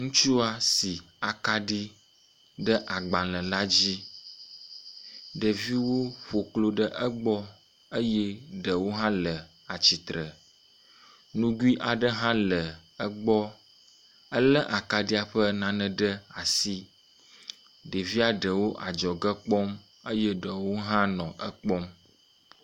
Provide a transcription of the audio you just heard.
Ŋutsua si akaɖi ɖe agbale la dzi. Ɖeviwo ƒo klo ɖe egbɔ eye ɖewo hã le atsitre. Nugui aɖe hã le egbɔ. Ele akaɖia ƒe nane ɖe asi. Ɖevia ɖewo adzɔge kpɔm eye ɖewo hã nɔ ekpɔm.